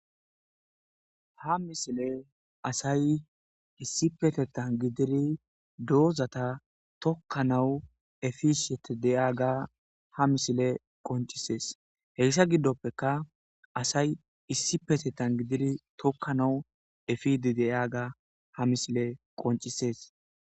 ha misile asay issipetetan gidiri doozata tokkanawu efishete deyaga ha misile qoncisees heyssa giddoppeka asay issi petetan gidiri tokkanawu efidi deyaga ha misile qoncisees